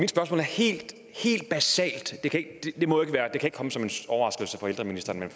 spørgsmål er helt helt basalt og det kan ikke komme som en overraskelse for ældreministeren at